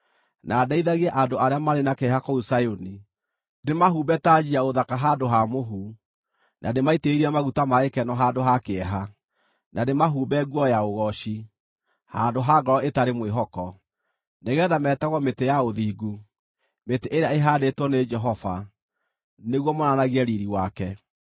na ndeithagie andũ arĩa marĩ na kĩeha kũu Zayuni: ndĩmahumbe tanji ya ũthaka handũ ha mũhu, na ndĩmaitĩrĩrie maguta ma gĩkeno handũ ha kĩeha, na ndĩmahumbe nguo ya ũgooci handũ ha ngoro ĩtarĩ mwĩhoko. Nĩgeetha meetagwo mĩtĩ ya ũthingu, mĩtĩ ĩrĩa ĩhaandĩtwo nĩ Jehova nĩguo monanagie riiri wake.